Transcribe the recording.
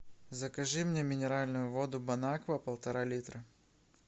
закажи мне минеральную воду бон аква полтора литра